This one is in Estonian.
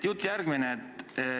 Jutt järgmine.